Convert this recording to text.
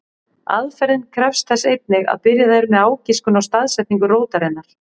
Aðferðin krefst þess einnig að byrjað er með ágiskun á staðsetningu rótarinnar.